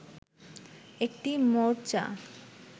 একটি মোর্চা